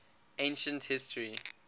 ancient history